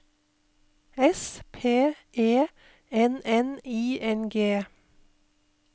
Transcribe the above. S P E N N I N G